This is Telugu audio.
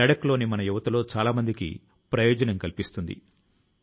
వనరుల నష్టం తో సంపద కు పురోగమనాని కి దారులు మూసుకు పోతాయి